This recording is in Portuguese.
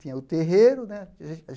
Tinha o terreiro, né?